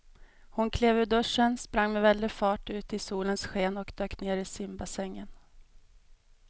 Hon klev ur duschen, sprang med väldig fart ut i solens sken och dök ner i simbassängen.